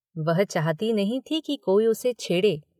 वह चाहती नहीं थी कि कोई उसे छेड़े।